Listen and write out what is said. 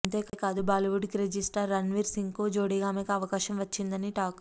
అంతేకాదు Bollywood crazy star Ranveer సింగ్కు జోడీగా ఆమెకు అవకాశం వచ్చిందని టాక్